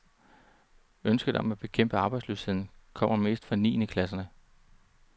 Ønsket om at bekæmpe arbejdsløsheden kommer mest fra niende klasserne.